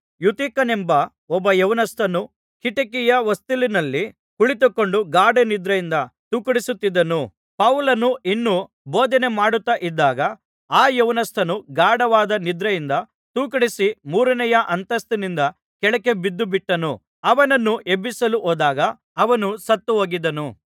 ಯೂತಿಖನೆಂಬ ಒಬ್ಬ ಯೌವನಸ್ಥನು ಕಿಟಿಕಿಯ ಹೊಸ್ತಿಲಿನಲ್ಲಿ ಕುಳಿತುಕೊಂಡು ಗಾಢನಿದ್ರೆಯಿಂದ ತೂಕಡಿಸುತ್ತಿದ್ದನು ಪೌಲನು ಇನ್ನೂ ಬೋಧನೆ ಮಾಡುತ್ತಾ ಇದ್ದಾಗ ಆ ಯೌವನಸ್ಥನು ಗಾಢವಾದ ನಿದ್ರೆಯಿಂದ ತೂಕಡಿಸಿ ಮೂರನೆಯ ಅಂತಸ್ತಿನಿಂದ ಕೆಳಕ್ಕೆ ಬಿದ್ದುಬಿಟ್ಟನು ಅವನನ್ನು ಎಬ್ಬಿಸಲು ಹೋದಾಗ ಅವನು ಸತ್ತುಹೋಗಿದ್ದನು